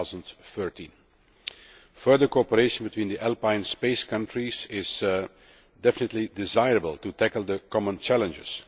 2013. Further cooperation between the Alpine Space countries is definitely desirable, in order to tackle the common challenges.